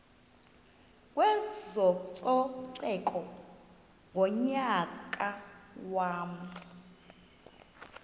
kwezococeko ngonyaka wama